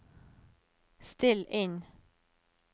still inn